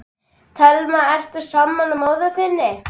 Telma: Ertu sammála móður þinni?